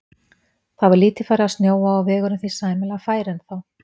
Það var lítið farið að snjóa og vegurinn því sæmilega fær ennþá.